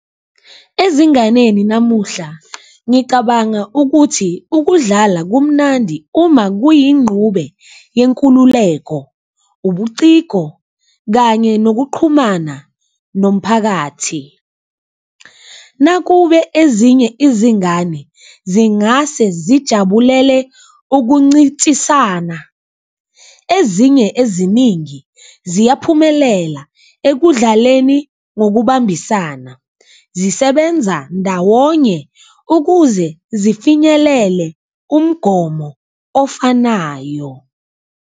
Ezinganeni namuhla ngicabanga ukuthi ukudlala kumnandi uma kuyingqube yenkululeko, ubuciko, kanye nokuqhumana nomphakathi. Nakube ezinye izingane zingase zijabulele ukuncintshisana, ezinye eziningi ziyaphumelela ekudlaleni ngokubambisana zisebenza ndawonye ukuze zifinyelele kumgomo ofanayo.